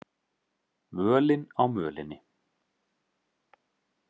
Völin á mölinni